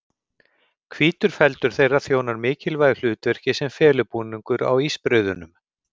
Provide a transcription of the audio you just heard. Hvítur feldur þeirra þjónar mikilvægu hlutverki sem felubúningur á ísbreiðunum.